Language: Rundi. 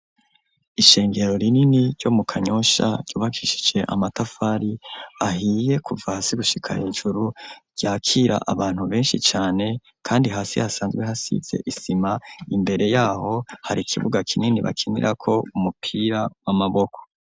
Ishengero rinini ryo mu Kanyosha, ryubakishije amatafari ahiye kuva hasi gushika hejuru, ryakira abantu benshi cane, kandi hasi hasanzwe hasize isima, imbere y’aho hari ikibuga kinini bakinirako umupira w'amaboko.